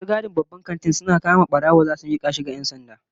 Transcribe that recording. Masu gadin babban kanti suna kama barawo zasu mika shi ga 'yan sanda